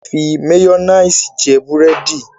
A le fi máyónìsì jẹ búrẹ́dì.